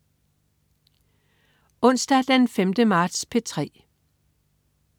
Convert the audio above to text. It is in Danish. Onsdag den 5. marts - P3: